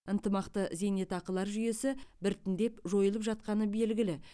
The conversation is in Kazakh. ынтымақты зейнетақылар жүйесі біртіндеп жойылып жатқаны белгілі